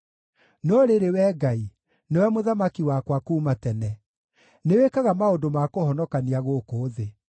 No rĩrĩ, Wee Ngai, nĩwe mũthamaki wakwa kuuma tene; nĩwĩkaga maũndũ ma kũhonokania gũkũ thĩ.